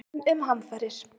enn um hamfarir